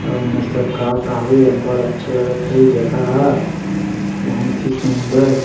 अऊ एमेर सब का-का हे अब्बड़ अच्छा लगत हे जगह हा बहुत ही सुंदर--